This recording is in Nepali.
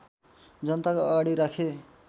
जनताको अगाडि राखे